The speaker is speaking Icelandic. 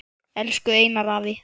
Elsku Einar afi.